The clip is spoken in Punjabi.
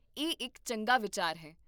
ਇਹ ਇੱਕ ਚੰਗਾ ਵਿਚਾਰ ਹੈ